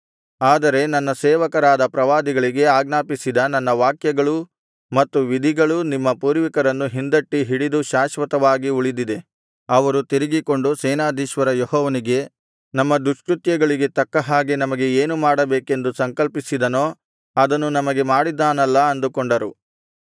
ಆದರೆ ನನ್ನ ಸೇವಕರಾದ ಪ್ರವಾದಿಗಳಿಗೆ ಆಜ್ಞಾಪಿಸಿದ ನನ್ನ ವಾಕ್ಯಗಳೂ ಮತ್ತು ವಿಧಿಗಳೂ ನಿಮ್ಮ ಪೂರ್ವಿಕರನ್ನು ಹಿಂದಟ್ಟಿ ಹಿಡಿದು ಶಾಶ್ವತವಾಗಿ ಉಳಿದಿದೆ ಅವರು ತಿರುಗಿಕೊಂಡು ಸೇನಾಧೀಶ್ವರ ಯೆಹೋವನಿಗೆ ನಮ್ಮ ದುಷ್ಕೃತ್ಯಗಳಿಗೆ ತಕ್ಕ ಹಾಗೆ ನಮಗೆ ಏನು ಮಾಡಬೇಕೆಂದು ಸಂಕಲ್ಪಿಸಿದನೋ ಅದನ್ನು ನಮಗೆ ಮಾಡಿದ್ದಾನಲ್ಲಾ ಅಂದುಕೊಂಡರು